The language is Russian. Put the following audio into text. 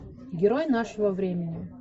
герой нашего времени